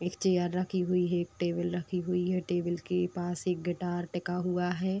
एक चेयर रखी हुई है। एक टेबल रखी हुई है। टेबल के पास एक गिटार टिका हुआ है।